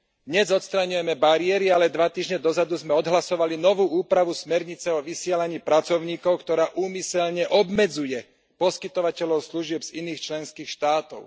Dnes odstraňujeme bariéry, ale dva týždne dozadu sme odhlasovali novú úpravu smernice o vysielaní pracovníkov, ktorá úmyselne obmedzuje poskytovateľov služieb z iných členských štátov.